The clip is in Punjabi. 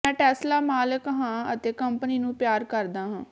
ਮੈਂ ਟੈਸਲਾ ਮਾਲਕ ਹਾਂ ਅਤੇ ਕੰਪਨੀ ਨੂੰ ਪਿਆਰ ਕਰਦਾ ਹਾਂ